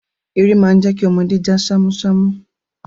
Eré má ń jẹ́ kí ọmọdé já ṣámúṣámú.